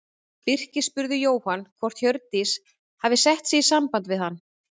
Birkir spurði Jóhann hvort Hjördís hefði sett sig í samband við hann.